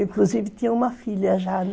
Inclusive, tinha uma filha já, né?